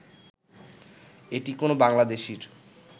এটি কোনো বাংলাদেশীর